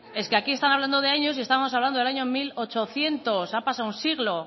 es que aquí están hablando de años y estamos hablando del año mil ochocientos ha pasado un siglo